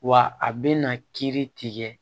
Wa a bɛna kiiri tigɛ